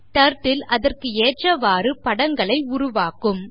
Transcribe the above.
turtle அதற்கு ஏற்றவாறு வரைபடங்களை உருவாக்கும்